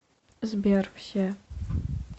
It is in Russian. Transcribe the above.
сбер все